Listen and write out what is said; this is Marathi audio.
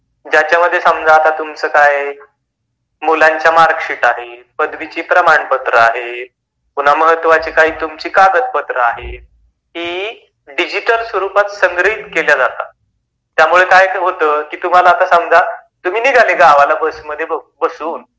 त्यांच्यामध्ये समजा तुमच काय आहे. त्यांच्यामध्ये तुमच्या मुलांच्या मार्कशीट आहेत, पदवीचि प्रमाणपत्र आहेत पुन्हातुमची महत्त्वाची कागदपत्र आहेत ही डिजिटल स्वरुपात संग्रहित केल्या जाते त्यामुळे काय होत तुम्हाला आता समजा तुम्ही निघाले आता गावाला बस मध्ये बसून,